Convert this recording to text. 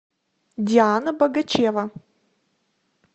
диана богачева